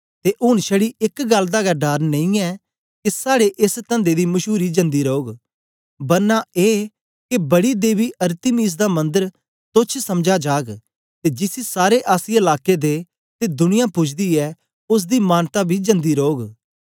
ते ऊन छड़ी एक गल्ल दा गै डर नेई के साड़े एस तंदे दी मशूरी जन्दी रौग बरना ए के बड़ी देवी अरतिमिस दा मंदर तोच्छ समझा जाग ते जिसी सारे आसिया लाके दे ते दुनिया पुजदी ऐ ओसदी मानता बी जन्दी रौग